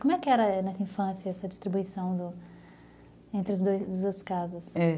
Como é que era nessa infância essa distribuição entre os dois entre duas casas?